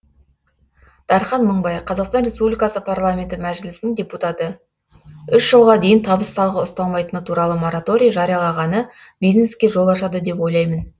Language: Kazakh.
дархан мыңбай қазақстан республикасы парламенті мәжілісінің депутаты үш жылға дейін табыс салығы ұсталмайтыны туралы мораторий жариялағаны бизнеске жол ашады деп ойлаймын